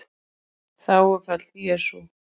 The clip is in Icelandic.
Þágufall: Jesú